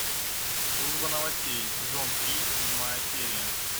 служба новостей сезон три седьмая серия